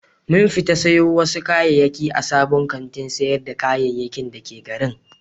Mun fita sayo wasu kayayyaki a sabon kantin sayar da kayayyaki da ke garin.